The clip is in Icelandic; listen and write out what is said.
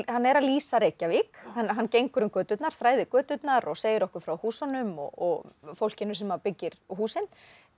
hann er að lýsa Reykjavík hann gengur um göturnar þræðir göturnar og segir okkur frá húsunum og fólkinu sem að byggir húsin